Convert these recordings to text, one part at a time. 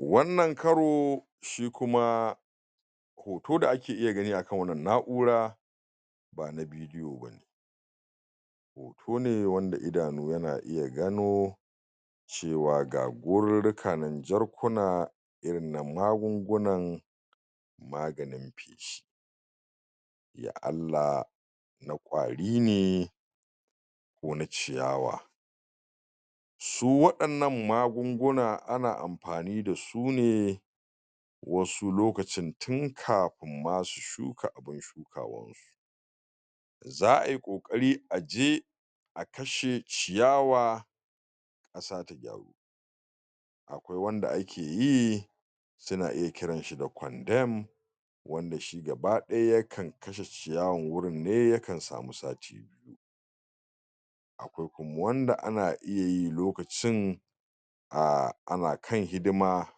Wannan karo shi kuma hoto da ake iya gani a kan wannan na'ura ba na bidiyo ba ne. Hoto ne wanda idanu yana iya gano cewa ga gorarruka nan jarkuna irin na magungunan maganin feshi, ya Allah na ƙwari ne ko na ciyawa. Su waɗannan magunguna ana amfani da su ne wasu lokacin tun kafin ma su shuka abun shukawansu. Za ai ƙoƙari a je a kashe ciyawa a sa ta gyaru. Aƙwai wanda ake yi suna iya kiranshi da condemned wanda shi gaba ɗaya yakan kashe ciyawan wurin ne yaka samu sati. Akwai kuma wanda ana iya yi lokacin um ana kan hidima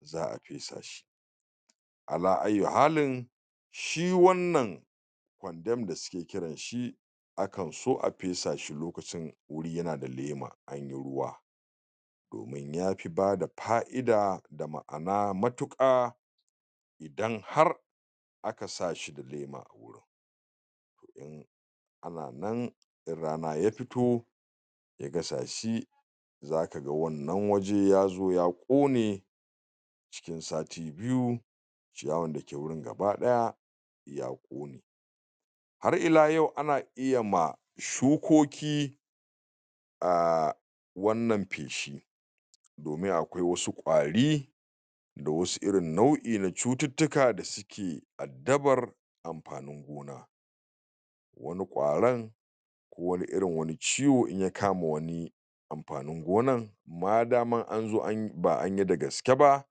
za a fesa shi ala ayyu halin, shi wannan condemned da suke kiranshi a kan so a fesa shi lokacin wuri yana da lema an yi ruwa domin ya fi bada fa'ida da ma'ana matuƙa idan har aka sa shi da lema a wurin. Ana nan in rana ya fito ya gasa shi za ka ga wannan waje ya zo ya kone a cikin sati biyu. Ciyawan da ke gurin gaba ɗaya ya ƙone. Har ila yau ana iya ma shukoki um wannan feshi domin akwai wasu ƙwari da wasu irin nau'i na cututtuka da suke addabar amfanin gona. Wani ƙwaron ko wani irin wani ciwo in ya kama wani amfanin gonan madaman an zo an yi ba an yi da gaske ba,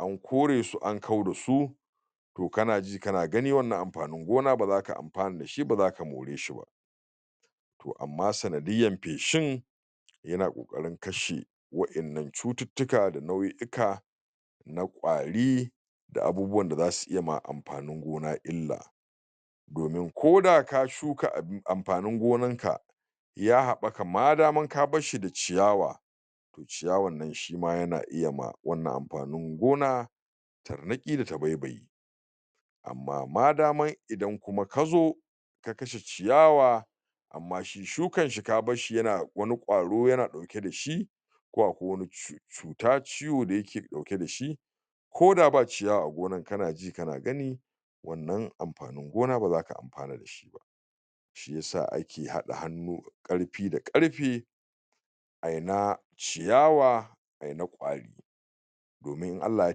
an kore su an kau da su to kana ji kana gani wannan amfanin gona ba za ka amfana ba za ka more shi ba. To amma sanadiyyan feshin yana ƙoƙarin kashe wa'innan cututtuka da nau'i'ika na ƙwari da abubuwan da za su iya ma amfanin gona illa domin ko da ka shuka amfanin gonanka ya haɓaka madaman ka bar shi da ciyawa, to ciyawan nan shi ma yana iya ma wannan amfanin gona tarnaƙi da tabaibayi. Amma madaman idan kuma ka zo ka kashe ciyawa amma shi shukanshi ka bar shi yana wani ƙwaro yana ɗauke da shi ko aƙwai wani cuta ciwo da yake ɗauke da shi ko da ba ciyawa a gonan kana ji kana gani wannan amfanin gona ba za ka amfana da shi ba. Shi ya sa ake haɗa hannu karfi da karfe ai na ciyawa ai na ƙwari domin in Allah ya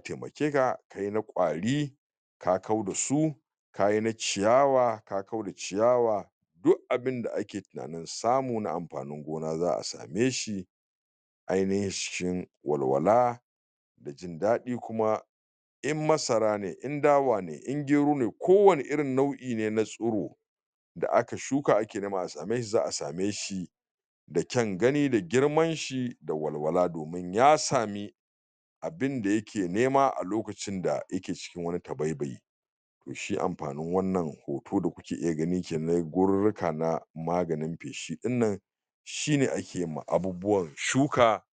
taimake kai na ƙwari ka kau da su ka yi na ciyawa ka kau da ciyawa duk abinda ake tunanin samu na amfanin gona za a same shi ainahin cikin walwala da jindaɗi kuma in masara ne in dawa ne in gero ne ko wane irin nau'i ne na tsiro da aka shuka ake neman a same shi za a same shi da ƙyan gani da girmanshi da walwala domin ya sami abinda yake nema a lokacin da yake cikin wani tabaibayi. Shi amfanin wannan hoto da kuke iya gani kenan gorurruka na maganin feshi ɗin nan shi ne ake ma abubuwan shuka.